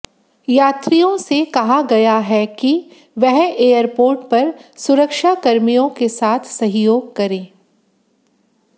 यात्रियों से कहा गया है कि वह एयरपोर्ट पर सुरक्षाकर्मियों के साथ सहयोग करें